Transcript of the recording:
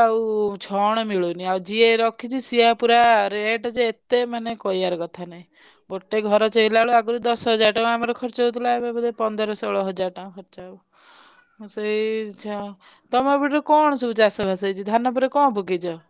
ଆଉ ଛଣ ମିଳୁନି ଆଉ ଯିଏ ରଖିଛି ସିଏ ପୁରା rate ଯେ ଏତେ ମାନେ କହିବାର କଥା ନାହି ଗୋଟେ ଘର ଆମର ଛିଆଲା ବେଳକୁ ଆଗରୁ ଦଶ ହଜାର ଟଙ୍କା ଖରଚ ହବ ଆଉ ସେଇଛା ଆଉ ତମ ସେପଟରେ କଣ ସବୁ ଚାଷ ବାସ ହେଇଛି ଧାନ ପରେ କଣ ପକେଇଛ?